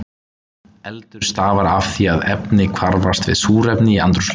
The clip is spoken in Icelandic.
Eldur stafar af því að efni hvarfast við súrefni í andrúmsloftinu.